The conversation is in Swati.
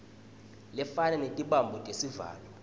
lefana netibambo tetivalo